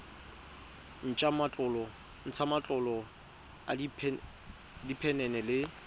ntsha matlolo a diphenene le